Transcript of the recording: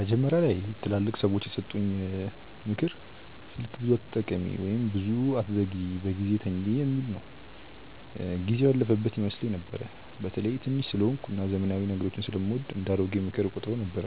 መጀመሪያ ላይ ትላልቅ ሰዎች የሰጡኝ “ምክር ስልክ ብዙ አትጠቀሚ” ወይም “ብዙ አትዘግይ በጊዜ ተኝ” የሚል ጊዜው ያለፈበት ይመስለኝ ነበር። በተለይ ትንሽ ስለሆንኩ እና ዘመናዊ ነገሮችን ስለምወድ እንደ “አሮጌ ምክር” እቆጥረው ነበር።